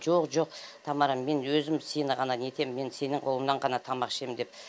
жоқ жоқ тамара мен өзім сені ғана нетем мен сенің қолыңнан ғана тамақ ішем деп